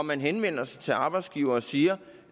man henvender sig til arbejdsgivere og siger